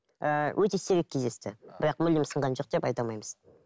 ііі өте сирек кездесті бірақ мүлдем сынған жоқ деп айта алмаймыз